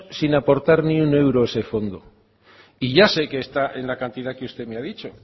sin aportar ni un euro a ese fondo y ya sé que está en la cantidad que usted me ha dicho